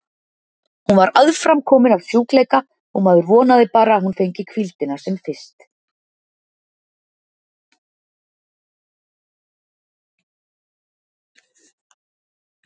Hún var aðframkomin af sjúkleika og maður vonaði bara að hún fengi hvíldina sem fyrst.